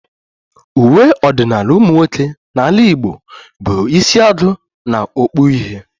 Uwe ọdịnala ụmụnwoke n'ala Igbo bụ isiagu na okpu uhie